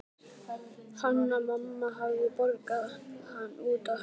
Hanna-Mamma hafði borgað hann út í hönd.